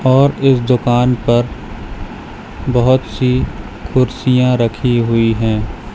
और इस दुकान पर बहोत सी कुर्सियां रखी हुई हैं।